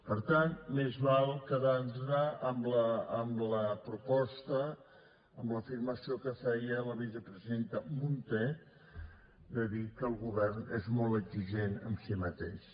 per tant més val quedar nos amb la proposta amb l’afirmació que feia la vicepresidenta munté de dir que el govern és molt exigent amb si mateix